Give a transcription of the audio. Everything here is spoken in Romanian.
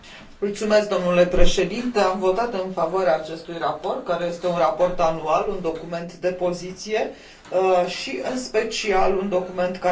Am votat în favoarea acestui raport, care este un raport anual, un document de poziție și, în special, un document care ar trebui să aibă o viziune.